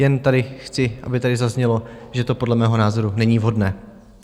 Jen chci, aby tady zaznělo, že to podle mého názoru není vhodné.